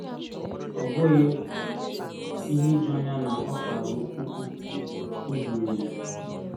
Ọ bụghị ihe ijuanya na o kwara ụku, “O zuru ezu!”